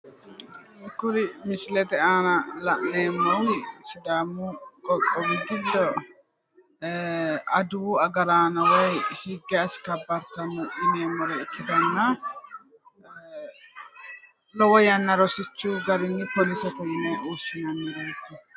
Kuri misilete aana la'neemohu sidaamu qoqqowi giddo aduwu agaraano woy higge askabbartanore yineemmore ikkanna lowo yanna rosichu garinni poolisete yine woshshinannireeti.